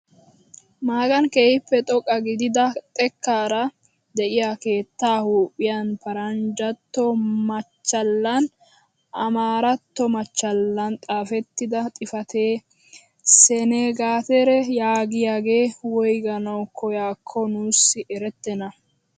Magani keehippe xoqqa gidida xekkaara de'iyaa keettaa huuphphiyaan paranjjantto machchalaninne amaaratto machchalan xaafettida xifatee sengaateraa yaagiyaagee woyganawu koyaakkoo nuusi erettena!